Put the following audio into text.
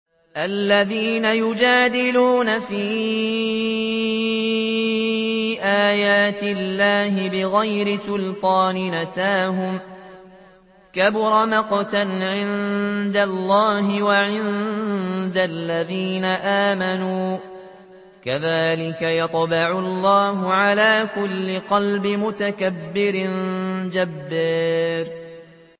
الَّذِينَ يُجَادِلُونَ فِي آيَاتِ اللَّهِ بِغَيْرِ سُلْطَانٍ أَتَاهُمْ ۖ كَبُرَ مَقْتًا عِندَ اللَّهِ وَعِندَ الَّذِينَ آمَنُوا ۚ كَذَٰلِكَ يَطْبَعُ اللَّهُ عَلَىٰ كُلِّ قَلْبِ مُتَكَبِّرٍ جَبَّارٍ